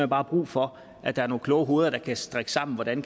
bare brug for at der er nogle kloge hoveder der kan strikke sammen hvordan